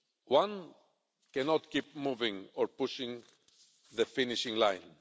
One cannot keep moving or pushing the finishing line